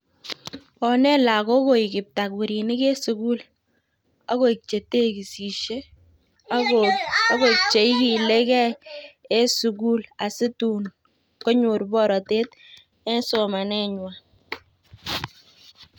Onet lagook koik kiptakurinik en sukul, akoik chetekisisyee, akoik cheikiligei, en sugul asitukonyor borotet en somanenywan